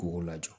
K'o ko lajɔ